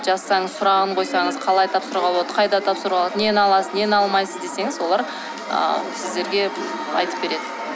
жазсаңыз сұрағын қойсаңыз қалай тапсыруға болады қайда тапсыруға болады нені аласыз нені алмайсыз десеңіз олар ыыы сіздерге айтып береді